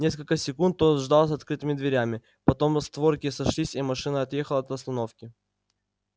несколько секунд тот ждал с открытыми дверями потом створки сошлись и машина отъехала от остановки